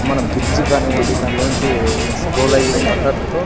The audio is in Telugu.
మన బ్రిడ్జి కానివ్వండి దానిలో నుంచి స్క్రోల్ అయ్యే వాటర్ తో --